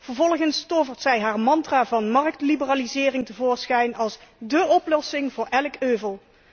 Vervolgens tovert zij haar mantra van marktliberalisering tevoorschijn als dé oplossing voor elk euvel.